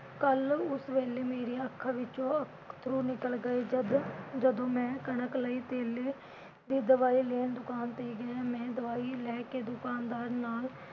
ਕੱਲ ਉਸ ਵੇਲੇ ਮੇਰੀਆਂ ਅੱਖਾਂ ਵਿਚੋਂ ਅੱਥਰੂ ਨਿਕਲ ਗਏ ਜਦ ਜਦੋਂ ਮੈਂ ਕਣਕ ਲਈ ਧੇਲੇ ਦੀ ਦਵਾਈ ਲੈਣ ਦੁਕਾਨ ਤੇ ਗਿਆ । ਮੈਂ ਦਵਾਈ ਲੈ ਕੇ ਦੁਕਾਨਦਾਰ ਨਾਲ